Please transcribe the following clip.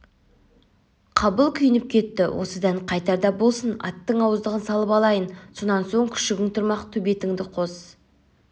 қабыл күйініп кетті осыдан қайтарда болсын аттың ауыздығын салып алайын сонан соң күшігің тұрмақ төбетіңді қос